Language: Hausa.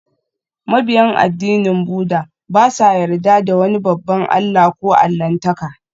Mabiyan addinin Buddah ba sa yarda da wani babban allah ko allahntaka